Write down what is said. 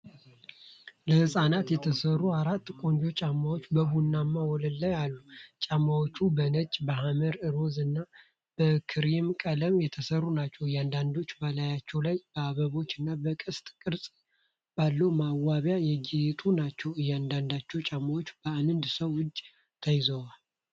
ለሕፃናት የተሰሩ አራት ቆንጆ ጫማዎች በቡናማ ወለል ላይ አሉ። ጫማዎቹ በነጭ፣ በሐመር ሮዝ እና በክሬም ቀለም የተሰሩ ናቸው። እያንዳንዳቸው በላያቸው ላይ በአበቦች እና በቀስት ቅርጽ ባለው ማስዋቢያ ያጌጡ ናቸው። አንደኛው ጫማ በአንድ ሰው እጅ ተይዟል።